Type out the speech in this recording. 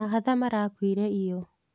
Mahatha marakuire iyo.